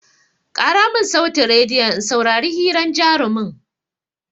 Ƙara mun sautin rediyon in saurari hiran jarumin!